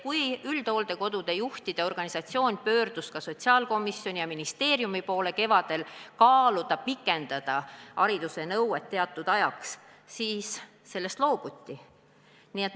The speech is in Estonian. Kui üldhooldekodude juhtide organisatsioon pöördus kevadel sotsiaalkomisjoni ja ministeeriumi poole, et kaalutaks haridusnõude kehtestamise pikendamist teatud ajaks, siis sellest loobuti.